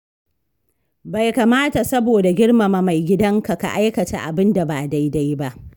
Bai kamata saboda girmama mai gidanka ka aikata abin da ba daidai ba.